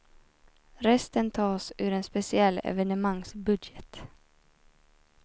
Resten tas ur en speciell evenemangsbudget.